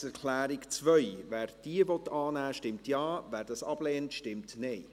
Wer die Planungserklärung 2 der SiK annehmen will, stimmt Ja, wer diese ablehnt, stimmt Nein.